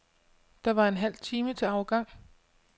Der var en halv time til afgang.